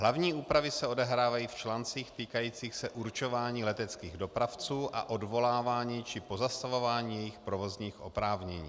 Hlavní úpravy se odehrávají v článcích týkajících se určování leteckých dopravců a odvolávání či pozastavování jejich provozních oprávnění.